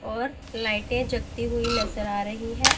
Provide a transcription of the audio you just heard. और लाइटें जगती हुई नजर आ रही है।